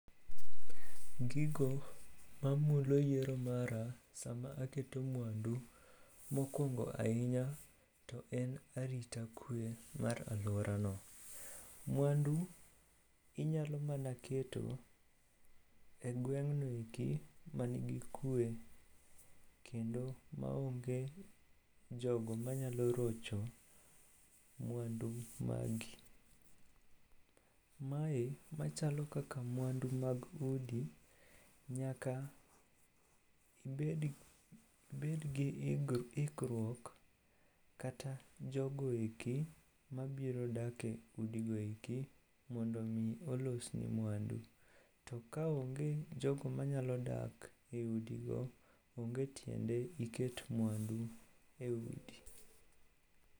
Gigo mamulo yiero mara sama aketo mwandu, mokwongo ahinya to en arita kwe mar alworano. Mwandu inyalo mana keto e gweng'no eki manigi kwe kendo maonge jogo manyalo rocho mwandu magi. Mae machalo kaka mwandu mag udi nyaka ibedgi ikruok kata jogo eki mabiro dake udi goeki mondo omi olosni mwandu. To kaonge jogo manyalo dak e udigo, onge tiende iket mwandu e udi.